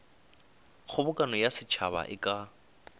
kgobokano ya setšhaba e ka